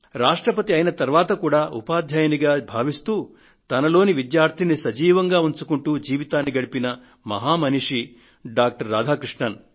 రాష్ట్రపతి అయిన తరువాత కూడా ఉపాధ్యాయుడిగా భావిస్తూ తనలోని విద్యార్థిని సజీవంగా ఉంచుకుంటూ జీవితాన్ని గడిపిన మహామనిషి డాక్టర్ రాధాకృష్ణన్